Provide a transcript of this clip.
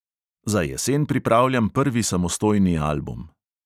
Za jesen pripravljam prvi samostojni album.